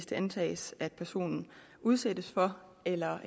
det antages at personen udsættes for eller er